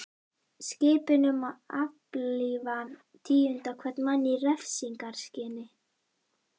Skipun um að aflífa tíunda hvern mann í refsingarskyni.